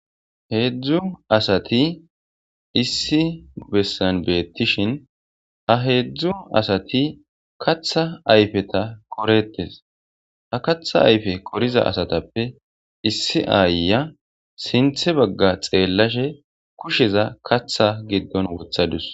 Heedzdzu asati issi bessan beettishin ha heedzdzu asati katha ayfeta qoreettes. Ha katha ayfe qoriza asatappe issi aayya sinthe bagga xeellashe kusheza katha giddon wothadus.